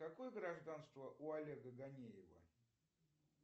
какое гражданство у олега ганеева